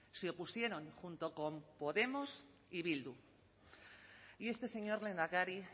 se opusieron junto con podemos y bildu y este señor lehendakari